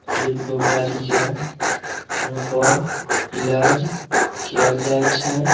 हरेक बीमारी के इहां पर इलाज कायल जाय छै।